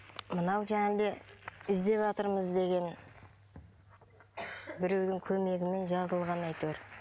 мынау іздеватырмыз деген біреудің көмегімен жазылған әйтеуір